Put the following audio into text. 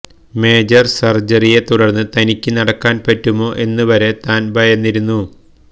major സര്ജറിയെ തുടര്ന്ന് തനിയ്ക്ക് നടക്കാന് പറ്റുമോ എന്നുവരെ താന് ഭയന്നിരുന്നു